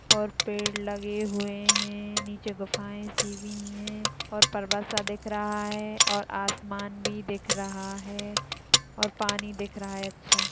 और पेड़ लगे हुए है। नीचे गुफाये सी भी है। और पर्वत सा दिख रहा है। और आसमान भी दिख रहा है। और पानी दिख रहा है अच्छा।